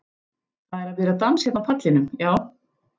Það er að byrja dans hérna á pallinum, já.